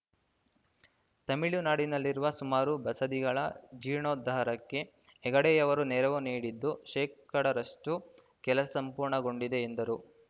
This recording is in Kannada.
ತಮಿಳುನಾಡಿನಲ್ಲಿರುವ ಸುಮಾರು ಬಸದಿಗಳ ಜೀರ್ಣೋದ್ಧಾರಕ್ಕೆ ಹೆಗ್ಗಡೆಯವರು ನೆರವು ನೀಡಿದ್ದು ಶೇಕಡಾರಷ್ಟು ಕೆಲಸ ಪೂರ್ಣಗೊಂಡಿದೆ ಎಂದರು